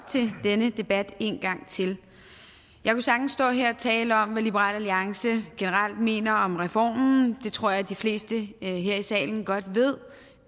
til denne debat en gang til jeg kunne sagtens stå her og tale om hvad liberal alliance generelt mener om reformen det tror jeg de fleste her i salen godt ved